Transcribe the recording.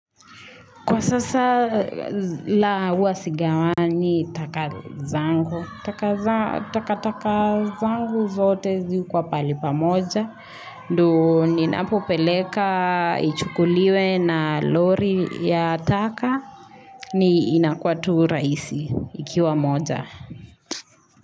Kwa sasa la uwa sigawa ni taka zangu. Takataka zangu zote zikuwa palipa moja. Nduu ni ninapoleka ichukuliwe na lori ya taka ni inakwatu raisi ikiwa moja.